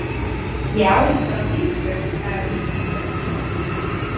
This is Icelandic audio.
Ég á hana bara á þýsku, sagði hann.